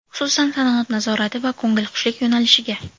Xususan, sanoat nazorati va ko‘ngilxushlik yo‘nalishiga.